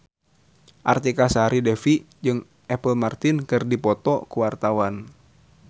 Artika Sari Devi jeung Apple Martin keur dipoto ku wartawan